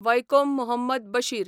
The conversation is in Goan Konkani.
वयकोम मुहम्मद बशीर